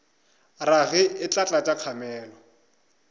rage e tla tlatša kgamelo